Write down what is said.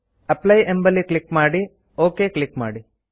apply ಮೇಲೆ click ಮಾಡಿ okay click ಮಾಡಿ